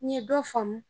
N ye dɔ faamu